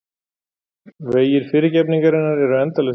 Vegir fyrirgefningarinnar eru endalausir.